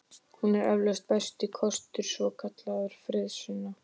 Hún er eflaust besti kostur svokallaðra friðarsinna.